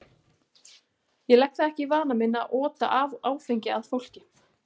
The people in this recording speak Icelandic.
Ég legg það ekki í vana minn að ota áfengi að fólki.